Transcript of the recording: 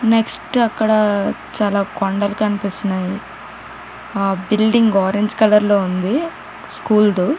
NEFT అక్కడ కొండలూ కనిపిస్తున్నాయి ఆ బిల్డింగ్ ఆరెంజ్ కలర్ --.